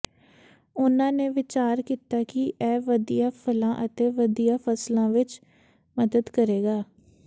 ਉਨ੍ਹਾਂ ਨੇ ਵਿਚਾਰ ਕੀਤਾ ਕਿ ਇਹ ਵਧੀਆਂ ਫਲਾਂ ਅਤੇ ਵਧੀਆਂ ਫਸਲਾਂ ਵਿਚ ਮਦਦ ਕਰੇਗਾ